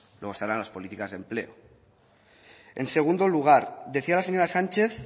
luego estarán las políticas de empleo en segundo lugar decía la señora sánchez